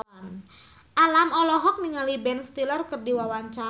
Alam olohok ningali Ben Stiller keur diwawancara